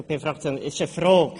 Ich habe eine Frage: